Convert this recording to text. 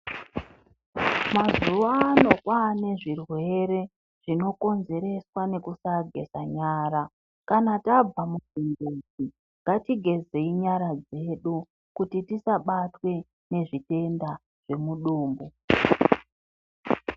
Mazuwa a o kwane zvirwere zvinokonzereswa nekusageza nyara. Kana tabva kuchimbuzi ngatigezei nyara dzedu kuti tisabatwe ngezvitenda zvemudumbu .